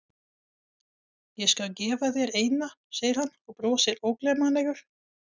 Ég skal gefa þér eina, segir hann og brosir ógleymanlegur.